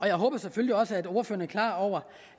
jeg håber selvfølgelig også at ordføreren er klar over